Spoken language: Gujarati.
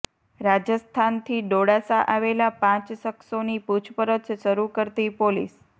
રાજસ્થાનથી ડોળાસા આવેલા પાંચ શખ્સોની પુછપરછ શરૂ કરતી પોલીસ